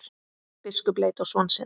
Biskup leit á son sinn.